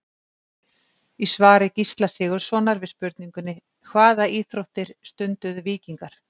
Í svari Gísla Sigurðssonar við spurningunni Hvaða íþróttir stunduðu víkingar?